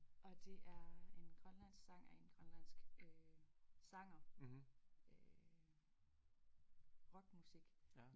Og det er en grønlandsk sang af en grønlandsk øh sanger øh rock musik